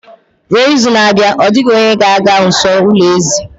Ruo izu na-abịa, ọ dịghị onye ga-aga nso ulo ezì